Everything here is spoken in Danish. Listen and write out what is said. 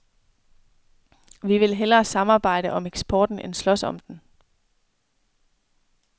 Vi vil hellere samarbejde om eksporten end slås om den.